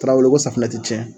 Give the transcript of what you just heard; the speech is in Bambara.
Tarawele ko safunɛ tɛ cɛn.